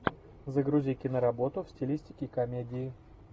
загрузи киноработу в стилистике комедии